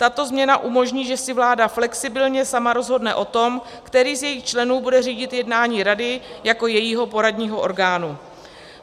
Tato změna umožní, že si vláda flexibilně sama rozhodne o tom, který z jejích členů bude řídit jednání rady jako jejího poradního orgánu.